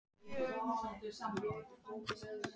Nokkur ráð eru til að draga úr þessum áhrifum lauksins.